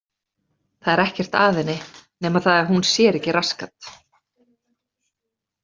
Það er ekkert að henni nema það að hún sér ekki rassgat.